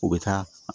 U bɛ taa